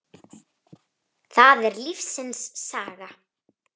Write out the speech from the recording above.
Það er lífsins saga.